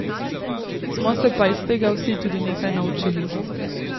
Smo se pa iz tega vsi tudi nekaj naučili.